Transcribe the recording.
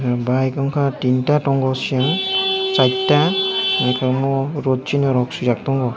bike wngka tinta tango siya chaita wngke amo rot sina rok sijak tango.